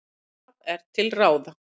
Hvað er til ráða?